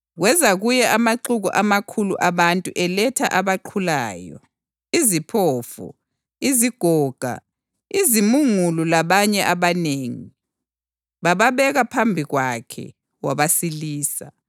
Kweza kuye amaxuku amakhulu abantu eletha abaqhulayo, iziphofu, izigoga, izimungulu labanye abanengi, bababeka phambi kwakhe; wabasilisa.